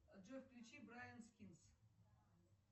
джой включи брайан скинс